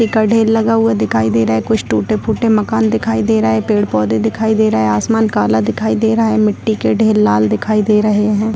का ढ़ेर लगा हुआ दिखाई दे रहा है कुछ टूटे-फूटे मकान दिखाई दे रहा है पेड़-पौधे दिखाई दे रहा है आसमान काला दिखाई दे रहा है मिटटी के ढ़ेर लाल दिखाई दे रहें हैं।